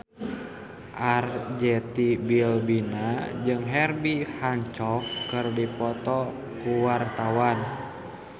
Arzetti Bilbina jeung Herbie Hancock keur dipoto ku wartawan